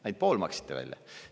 Ainult pool maksite välja.